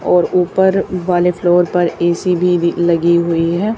और ऊपर वाले फ्लोर पर ए_सी भी भ लगी हुई है।